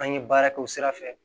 An ye baara kɛ o sira fɛ